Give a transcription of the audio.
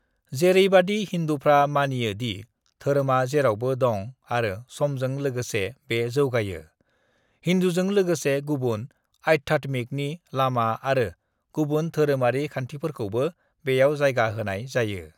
"जेरैबादि हिंदूफ्रा मानियो दि धोरोमआ जेरावबो दं आरो समजों लोगोसे बे जौगायो, हिंदूजों लोगोसे गुबुन आध्यात्मिकनि लामा आरो गुबुन धोरोमारि खान्थिफोरखौबो बेयाव जायगा होनाय जायो।"